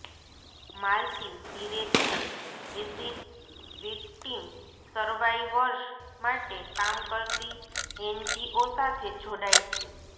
માલતી ધીરે ધીરે acid victim survivors માટે કામ કરતી એનજીઓ સાથે જોડાય છે